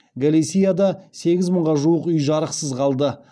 галисияда сегіз мыңға жуық үй жарықсыз қалды